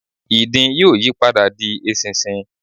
ìdin yóò yí padà di eṣinṣin